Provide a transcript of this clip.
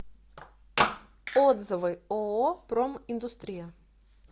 отзывы ооо проминдустрия